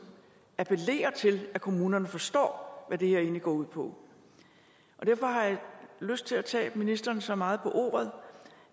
appellerer til at kommunerne forstår hvad det her egentlig går ud på derfor har jeg lyst til at tage ministeren så meget på ordet